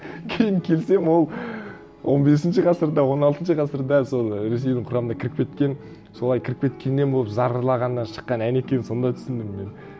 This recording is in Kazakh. кейін келсем ол он бесінші ғасырда он алтыншы ғасырда сол ресейдің құрамына кіріп кеткен солай кіріп кеткеннен болып зарлағаннан шыққан ән екенін сонда түсіндім мен